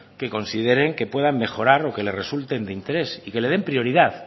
que consideren que puedan mejorar o que les resulten de interés y que le den prioridad